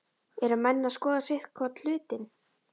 Eru menn að skoða sitthvorn hlutinn?